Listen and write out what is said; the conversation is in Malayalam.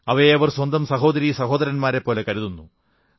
അവയെ അവർ സ്വന്തം സഹോദരീ സഹോദരന്മാരെപ്പോലെ കരുതുന്നു